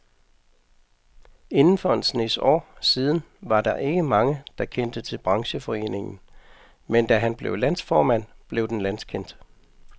Indtil for en snes år siden var der ikke mange, der kendte til brancheforeningen, men da han blev landsformand, blev den landskendt.